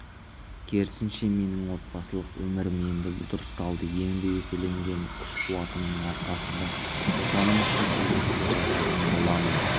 керісінше менің отбасылық өмірім енді дұрысталды енді еселенген күш-қуатымның арқасында отаным үшін игі істер жасайтын боламын